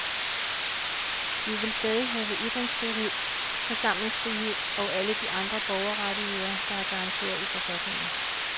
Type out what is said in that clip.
Vi vil stadig have ytringsfrihed, forsamlingsfrihed og alle de andre borgerrettigheder, der er garanteret i forfatningen.